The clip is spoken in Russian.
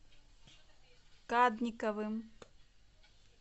кадниковым